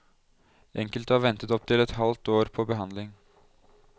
Enkelte har ventet opptil et halvt år på behandling.